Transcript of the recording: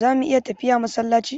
Zamu iya tafiya masallaci?